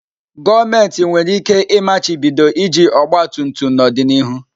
Gọọmentị nwere ike machibido iji ọgba tum tum n'ọdịnihu.